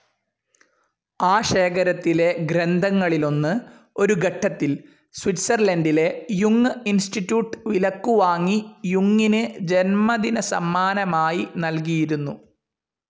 ആ ശേഖരത്തിലെ ഗ്രന്ഥങ്ങളിലൊന്ന് ഒരു ഘട്ടത്തിൽ സ്വിറ്റ്സർലൻഡിലെ യുങ്ങ് ഇൻസ്റ്റിറ്റ്യൂട്ട്‌ വിലക്കുവാങ്ങി യുങ്ങിന് ജന്മദിനസമ്മാനമായി നൽകിയിരുന്നു.